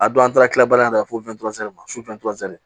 A don an taara kila baara in na fo